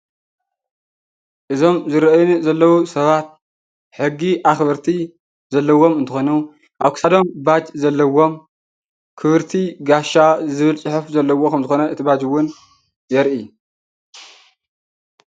እዞም ዝረአዩ ዘለው ሰባት ሕጊ ኣኽበርቲ ዘለዎም እንትኮኑ ኣብ ክሳዶም ባጅ ዘለዎም ክብርቲ ጋሻ ዝብል ፅሑፍ ዘለዎ ክም ዝኾነ እቲ ባጅ እውን የርኢ።